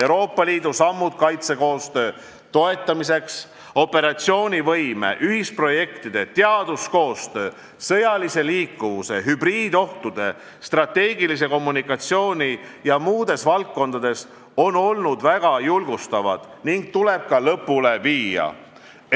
Euroopa Liidu sammud kaitsekoostöö toetamiseks operatsioonivõime, ühisprojektide, teaduskoostöö, sõjalise liikuvuse, hübriidohtude, strateegilise kommunikatsiooni ja muudes valdkondades on olnud väga julgustavad ning tuleb ka lõpule viia.